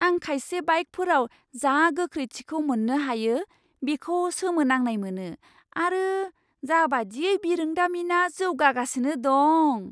आं खायसे बाइकफोराव जा गोख्रैथिखौ मोन्नो हायो बेखौ सोमोनांनाय मोनो आरो जाबादियै बिरोंदामिना जौगागासिनो दं।